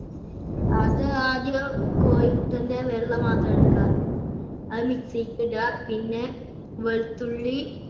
അത് ആദ്യം കോഴി മുട്ടന്‍ടെ വെള്ള മാത്രം എടുക്ക. അത് mixie ക്കിടാ. പിന്നെ വെളുത്തുള്ളി,